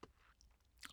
DR K